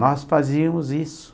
Nós fazíamos isso.